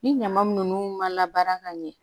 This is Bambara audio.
Ni ɲama ninnu ma baara ka ɲɛ